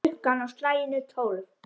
Klukkan á slaginu tólf.